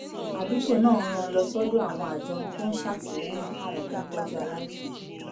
àdúgbò náà rán an lọ sọ́dọ̀ àwọn àjọ tó ń ṣàtìlẹ́yìn fáwọn tó ń tọ́jú aláìsàn